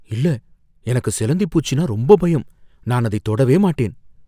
இல்ல! எனக்கு சிலந்தி பூச்சின்னா ரொம்ப பயம். நான் அதை தொடவே மாட்டேன்.